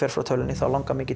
frá tölvunni þá langar mig ekki